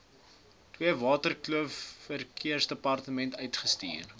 theewaterskloof verkeersdepartement uitstuur